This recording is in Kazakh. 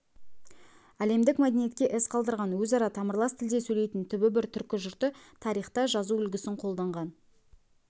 әлемдік мәдениетке із қалдырған өзара тамырлас тілде сөйлейтін түбі бір түркі жұрты тарихта жазу үлгісін қолданған